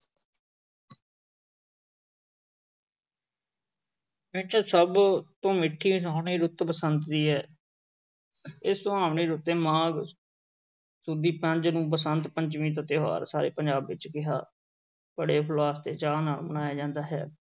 ਵਿੱਚੋਂ ਸਭ ਤੋਂ ਮਿੱਠੀ ਸੋਹਣੀ ਰੁੱਤ ਬਸੰਤ ਦੀ ਹੈ ਇਹ ਸੁਹਾਵਣੀ ਰੁੱਤੇ ਮਾਘ ਸੁਦੀ ਪੰਜ ਨੂੰ ਬਸੰਤ ਪੰਚਮੀ ਦਾ ਤਿਉਹਾਰ ਸਾਰੇ ਪੰਜਾਬ ਵਿੱਚ ਬੜੇ ਹੁਲਾਸ ਤੇ ਚਾਅ ਨਾਲ ਮਨਾਇਆ ਜਾਂਦਾ ਹੈ।